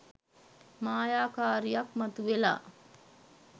මායාකාරියක් මතු වෙලා